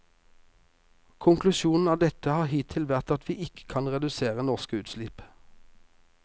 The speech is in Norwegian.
Konklusjonen av dette har hittil vært at vi ikke kan redusere norske utslipp.